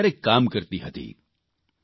જેમાં તેઓ કયારેક કામ કરતી હતી